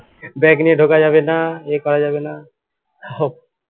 bag নিয়ে ঢোকা যাবেনা এই করা যাবেনা